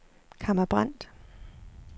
Kamma Brandt